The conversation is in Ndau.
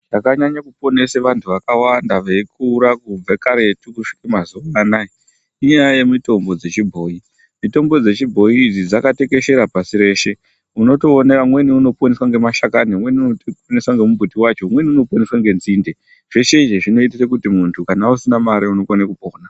Chakanyknyo kuponesa vantu vakawanda veikura kubve karetu veisvika kumazuva anaya ,inyaya yemitombo dzechibhoyi. Mitombo dzechibhoyi idzi dzakatekeshera pashi reshe. Unootona umweni unoponeswa ngemashakani ,unmweni unoponeswa ngemumbuti wacho ,umweni unopona ngetsinde .Zveshe izvi zvinoitire kuti muntu kana usina mare unokone kupona.